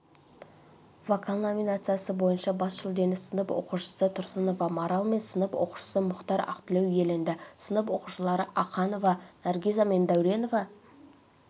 вокал номинациясы бойынша бас жүлдені сынып оқушысы тұрсынова марал мен сынып оқушысы мұхтар ақтілеу иеленді сынып оқушылары аханова наргиза мен дәуренова